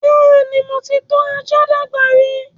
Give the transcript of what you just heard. Bẹ́ẹ̀ni, mo ti tọ́ ajá dàgbà rí